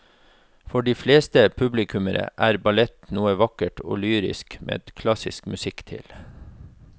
For de fleste publikummere er ballett noe vakkert og lyrisk med klassisk musikk til.